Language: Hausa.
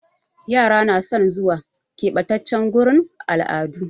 Yara na son zuwa ƙebatace gurin al'adu